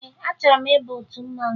Ee, achọrọ m ịba otu mmanwụ